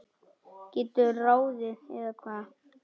geturðu ráðið, eða hvað?